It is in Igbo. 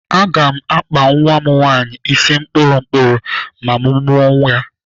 Aga m akpa nwa m nwaanyị isi kpụrụ kpụrụ ma mụ mụọ ya.